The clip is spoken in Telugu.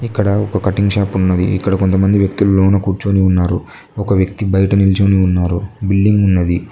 ఇక్కడ ఒక కటింగ్ షాప్ ఉన్నది ఇక్కడ కొంత మంది వ్యక్తులు లోన కూర్చొని ఉన్నారు ఒక వ్యక్తి బయట నిల్చుకొని ఉన్నారు బిల్డింగ్ ఉన్నది.